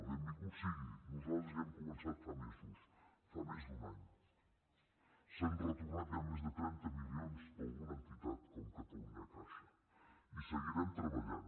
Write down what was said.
benvingut sigui nosaltres ja hem començat fa mesos fa més d’un any s’han retornat ja més de trenta milions d’alguna entitat com catalunyacaixa i hi seguirem treballant